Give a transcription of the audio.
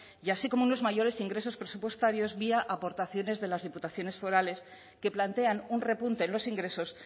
y así como unos mayores ingresos presupuestarios vía aportaciones de las diputaciones forales que plantean un repunte en los ingresos